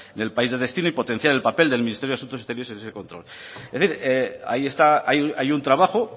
en el país de destino y potenciar el papel del ministerio de asuntos exteriores ahí está hay un trabajo